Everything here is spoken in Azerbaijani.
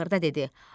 Axırda dedi: